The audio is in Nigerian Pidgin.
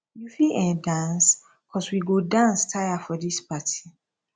you fit um dance cos we go dance tire for dis party